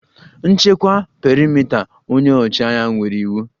Nchekwa perimeta! Onye ọchịagha nyere iwu